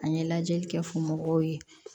An ye lajɛli kɛ fo mɔgɔw ye